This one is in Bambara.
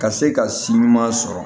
Ka se ka si ɲuman sɔrɔ